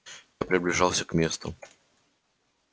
и приближался к месту